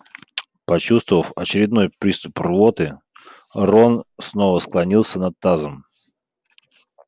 почувствовав очередной приступ рвоты рон снова склонился над тазом